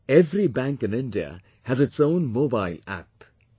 Every bank in India has its own 'mobile App'